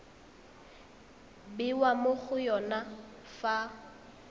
bewa mo go yone fa